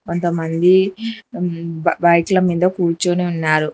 కొంతమంది బైక్ల మీద కూర్చొని ఉన్నారు.